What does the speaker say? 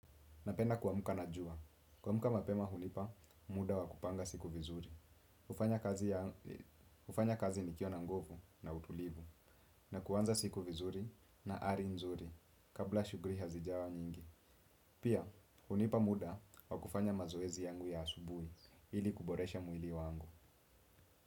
Napenda kuamka na jua. Kuamka mapema hunipa, muda wa kupanga siku vizuri. Hufanya kazi nikiwa na nguvu na utulivu na kuanza siku vizuri na ari nzuri kabla shuguli hazijawa nyingi. Pia, hunipa muda wa kufanya mazoezi yangu ya asubuhi ili kuboresha mwili wangu.